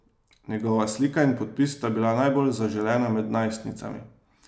Njegova slika in podpis sta bila najbolj zaželena med najstnicami.